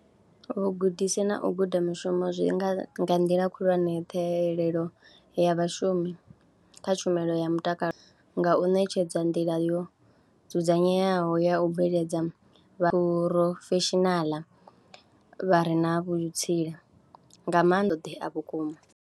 Vhugudisi na u guda mushumo zwi nga, nga nḓila khulwane ṱhahelelo ya vhashumi kha tshumelo ya mutakalo nga u ṋetshedza nḓila yo dzudzanyeaho ya u bveledza vha phurofeshinaḽa vha re na vhutsila nga maanḓa vhukuma.